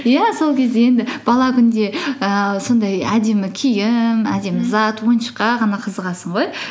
иә сол кезде енді бала күнде ііі сондай әдемі киім әдемі зат ойыншыққа ғана қызығасың ғой